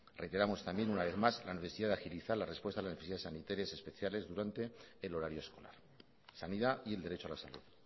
reiteramos también una vez más la necesidad de agilizar la respuesta a las necesidades sanitarias especiales durante el horario escolar sanidad y el derecho a la salud